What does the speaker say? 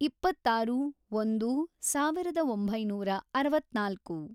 ಇಪ್ಪತ್ತಾರು ಒಂದು ಸಾವಿರದ ಒಂಬೈನೂರ ಅರವತ್ನಾಲ್ಕು